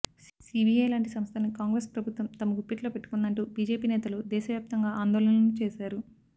CBI లాంటి సంస్థల్ని కాంగ్రెస్ ప్రభుత్వం తమ గుప్పిట్లో పెట్టుకుందంటూ బీజేపీ నేతలు దేశవ్యాప్తంగా ఆందోళనలు చేశారు